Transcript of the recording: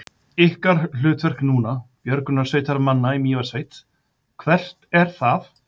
Ykkar hlutverk núna, björgunarsveitarmanna í Mývatnssveit, hvert er það?